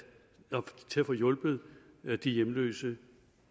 få hjulpet de hjemløse